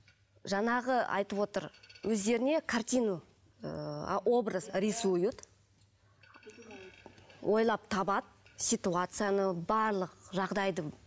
жаңағы айтып отыр өздеріне картину ыыы образ рисуют ойлап табады ситуацияны барлық жағдайды